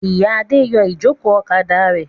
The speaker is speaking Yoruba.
Ìyá Adé yọ ìjókòó ọ̀kadà rẹ̀.